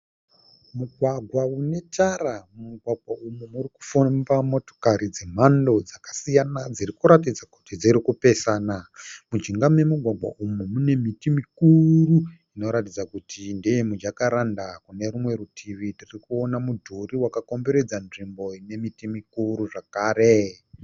Mugwagwa unetara. Mumugwagwa umu urikufamba motokari dzakasiyana dzirikuratidza kuti dzirikupesana. Mujinga memugwagwa umu mune miti mikuru inoratidza kuti ndeyemijakaranda. Kune rumwe rutivi tirikuona mudhuri wakakomberedza nzvimbo ine miti mikuru zvakare.